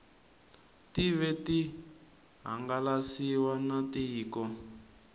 tive ti hangalasiwa na tiko